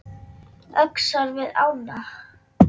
Öxar við ána